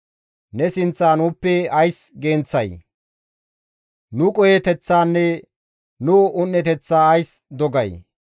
Ne sinththa nuuppe ays genththay? Nu qoheteththanne nu un7eteththa ays dogay?